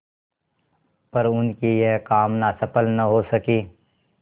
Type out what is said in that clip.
पर उनकी यह कामना सफल न हो सकी